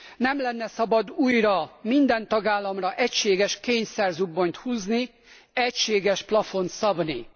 Nem lenne szabad újra minden tagállamra egységes kényszerzubbonyt húzni, egységes plafont szabni.